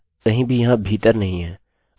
अब array कहीं भी यहाँ भीतर नहीं है